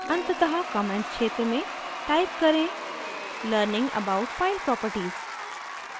अंततः comments क्षेत्र में type करें learning about file properties